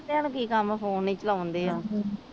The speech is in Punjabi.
ਵੇਹਲੇਆ ਨੂੰ ਕੀ ਕੰਮ ਫੋਨ ਹੀ ਚਲਾਉਣ ਡੇ ਆ